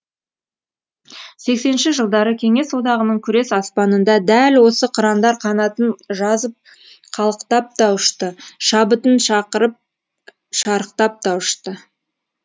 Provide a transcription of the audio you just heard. сексенінші жылдары кеңес одағының күрес аспанында дәл осы қырандар қанатын жазып қалықтап та ұшты шабытын шақырып шарықтап та ұшты